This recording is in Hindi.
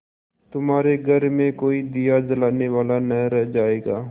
तुम्हारे घर में कोई दिया जलाने वाला न रह जायगा